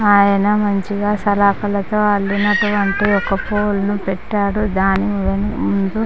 అయన మంచిగా సలకులతో అల్లినటువంటి ఒక పోలె నూ పెట్టాడు.దాని ముందు--